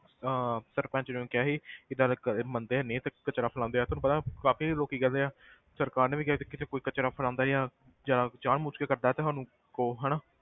ਅਹ ਸਰਪੰਚ ਨੂੰ ਕਿਹਾ ਸੀ ਇਹ ਮੰਨਦੇ ਹੈ ਨੀ ਤੇ ਕਚਰਾ ਫੈਲਾਉਂਦੇ ਆ ਤੈਨੂੰ ਪਤਾ ਕਾਫ਼ੀ ਲੋਕੀ ਕਹਿੰਦੇ ਆ ਸਰਕਾਰ ਨੇ ਵੀ ਕਿਹਾ ਸੀ ਕਿਤੇ ਕੋਈ ਕਚਰਾ ਫੈਲਾਉਂਦਾ ਜਾਂ ਜਾਂ ਜਾਨ ਬੁੱਝ ਕੇ ਕਰਦਾ ਤੇ ਸਾਨੂੰ ਕਹੋ ਹਨਾ,